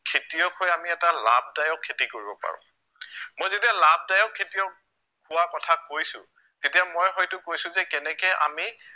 খেতিয়ক হৈ আমি এটা লাভদায়ক খেতি কৰিব পাৰো মই যেতিয়া লাভদায়ক খেতিয়ক হোৱা কথা কৈছো তেতিয়া মই হয়তো কৈছো যে কেনেকে আমি